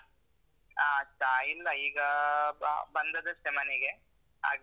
ಹ. ಚಾ ಇಲ್ಲ, ಈಗ ಬ~ ಬಂದದಷ್ಟೇ ಮನೆಗೆ ಆಗ್ಬೇಕು.